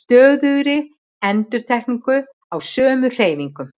stöðugri endurtekningu á sömu hreyfingum.